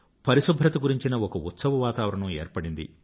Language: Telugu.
పరిశుభ్రత గురించిన ఒక ఉత్సవ వాతావరణం ఏర్పడింది